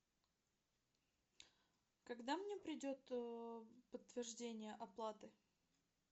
когда мне придет подтверждение оплаты